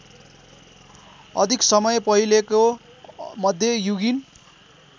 अधिक समय पहिलेको मध्ययुगीन